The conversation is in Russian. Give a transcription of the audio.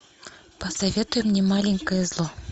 посоветуй мне маленькое зло